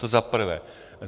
To za prvé.